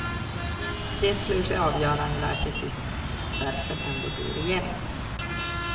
Det slutliga avgörandet lär till sist därför ändå bli regeringens.